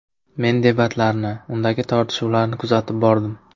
Men debatlarni, undagi tortishuvlarni kuzatib bordim.